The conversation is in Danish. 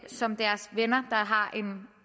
som deres venner har en